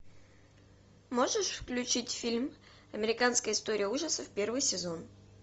можешь включить фильм американская история ужасов первый сезон